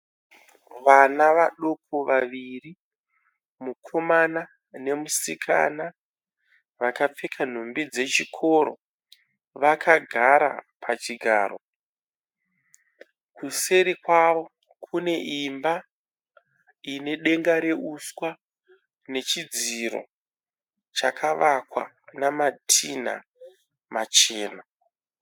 Vana vaduku vaviri mukomana nemusikana. Vakapfeka nhumbi dzechikoro. Vakagara pachigaro. Kuseri kwawo kune imba ine denga reuswa nechidziro chakavakwa nanatinha machena.